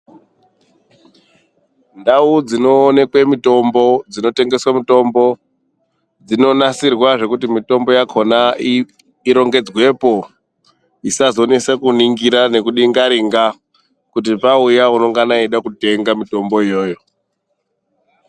Ndau dzinoonekwe mitombo, dzinotengeswe mitombo dzinonasirwa zvekuti mitombo yakhona irongedzwepo isazonese kuningira neku dingaringa kuti pauya unongana eida kutenga mitombo iyoyo.